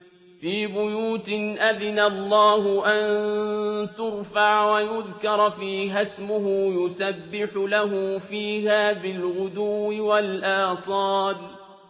فِي بُيُوتٍ أَذِنَ اللَّهُ أَن تُرْفَعَ وَيُذْكَرَ فِيهَا اسْمُهُ يُسَبِّحُ لَهُ فِيهَا بِالْغُدُوِّ وَالْآصَالِ